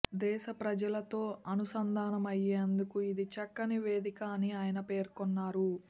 దేశ ప్రజలతో అనుసంధానమయ్యేందుకు ఇది చక్కని వేదిక అని ఆయన పేర్కొన్నారు